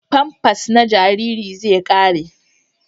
Famfas na jariri zai ƙare.